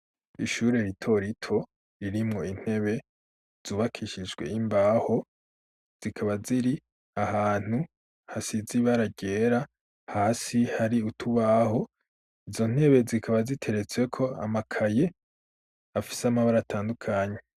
Ishure ritorito irimwo intebe zubakishishwe imbaho zikaba ziri ahantu hasi zibaragera hasi hari utubaho, izo ntebe zikaba ziteretsweko amakaye afise amabara atandukanye.